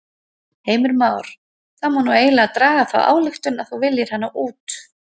Heimir Már: Það má nú eiginlega draga þá ályktun að þú viljir hana út?